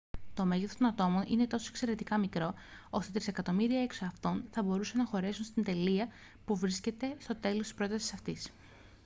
το μέγεθος των ατόμων είναι τόσο εξαιρετικά μικρό ώστε τρισεκατομμύρια εξ αυτών θα μπορούσαν να χωρέσουν στην τελεία που βρίσκεται στο τέλος της πρότασης αυτής